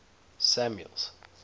samuel's